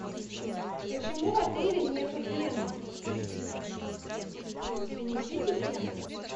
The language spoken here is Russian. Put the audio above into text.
почему в отеле нету фена принесите фен